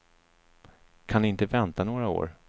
Kan ni inte vänta några år.